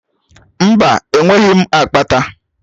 Mba, enweghị m akpata.